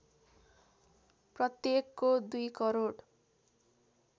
प्रत्येकको २ करोड